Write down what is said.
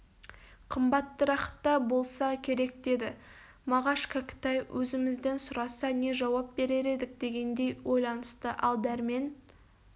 қымбаттырақта болса керек деді мағаш кәкітай өзімізден сұраса не жауап берер едік дегендей ойланысты ал дәрмен